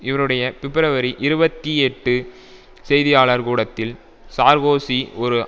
இவருடைய பிப்ரவரி இருபத்தி எட்டு செய்தியாளர் கூடத்தில் சார்கோசி ஒரு